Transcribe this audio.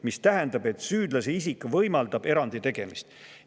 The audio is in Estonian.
See tähendab, et süüdlase isik võimaldab erandi tegemist.